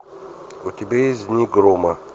у тебя есть дни грома